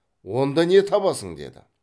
онда не табасың деді